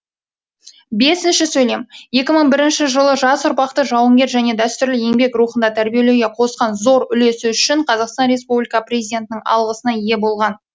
екі мың бірінші жылы жас ұрпақты жауынгер және дәстүрлі еңбек рухында тәрбиелеуге қосқан зор үлесі үшін қазақстан республика президентінің алғысына ие болған